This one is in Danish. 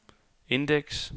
indeks